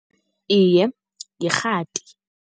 Iye, yirhati.